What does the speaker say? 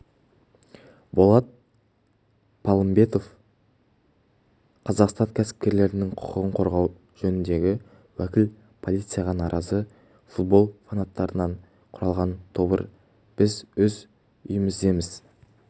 болат палымбетов қазақстан кәсіпкерлерінің құқығын қорғау жөніндегі уәкіл полицияға наразы футбол фанаттарынан құралған тобыр біз өз үйіміздеміз